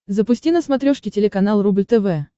запусти на смотрешке телеканал рубль тв